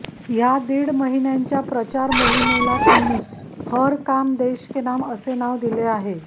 हा दीड महिन्यांच्या प्रचार मोहीमेला त्यांनी हर काम देश के नाम असे नाव दिले आहे